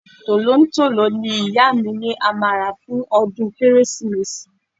Tolontolo ni ìyá mi ni a máa rà fún ọdún Kérésìmesì.